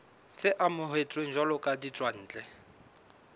tse amohetsweng jwalo ka ditswantle